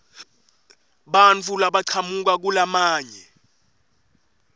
bantfu labachamuka kulamanye